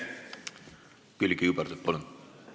Külliki Kübarsepp, palun!